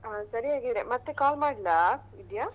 ಹಾ ಸರಿ ಹಾಗಾದ್ರೆ ಮತ್ತೆ call ಮಾಡ್ಲಾ ವಿದ್ಯಾ?